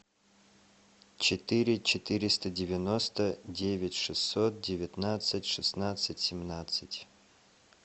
четыре четыреста девяносто девять шестьсот девятнадцать шестнадцать семнадцать